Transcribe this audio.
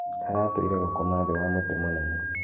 Aratũĩre gũkoma thĩ wa mũtĩ mũnene.